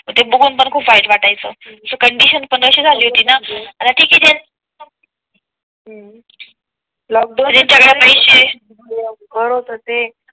ते बघून पण खूप वाईट वाटायचं ते कंडिशन पणअशी झाली होती ना